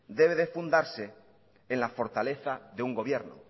debe de fundarse en la fortaleza de un gobierno